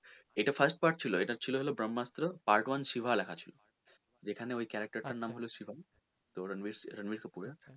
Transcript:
এটা first part ছিল এটা ছিল তোর ব্রহ্মাস্ত্র part one শিবা লেখা ছিল তো যেখানে ওই character টার নাম শিবা রনবির কাপুরের,